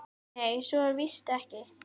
Nei, svo er víst ekki.